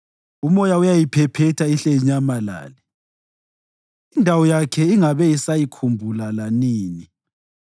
umoya uyayiphephetha ihle inyamalale, indawo yakhe ingabe isayikhumbula lanini.